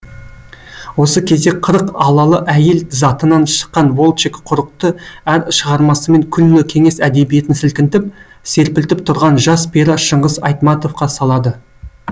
осы кезде қырық айлалы әйел затынан шыққан волчек құрықты әр шығармасымен күллі кеңес әдебиетін сілкінтіп серпілтіп тұрған жас пері шыңғыс айтматовқа салады